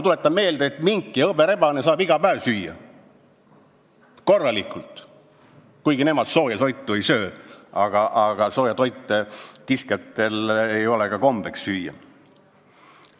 Tuletan meelde, et mink ja hõberebane saavad iga päev korralikult süüa, kuigi nemad sooja toitu ei söö, sest sooja toitu ei ole kiskjatel kombeks süüa.